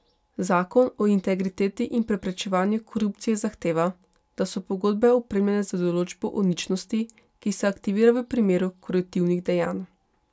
Zakon o integriteti in preprečevanju korupcije zahteva, da so pogodbe opremljene z določbo o ničnosti, ki se aktivira v primeru koruptivnih dejanj.